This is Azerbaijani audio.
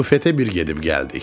Bufetə bir gedib gəldik.